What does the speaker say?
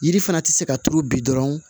Yiri fana tɛ se ka turu bi dɔrɔn